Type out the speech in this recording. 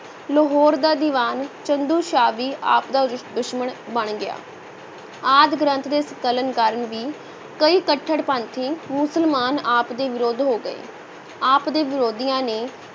ਲਾਹੌਰ ਦਾ ਦੀਵਾਨ ਚੰਦੂ ਸ਼ਾਹ ਵੀ ਆਪ ਦਾ ਦੁਸ਼ਮਣ ਬਣ ਗਿਆ, ਆਦਿ ਗ੍ਰੰਥ ਦੇ ਸੰਕਲਨ ਕਾਰਨ ਵੀ ਕਈ ਕਟੜਪੰਥੀ ਮੁਸਲਮਾਨ ਆਪ ਦੇ ਵਿਰੁੱਧ ਹੋ ਗਏ, ਆਪ ਦੇ ਵਿਰੋਧੀਆਂ ਨੇ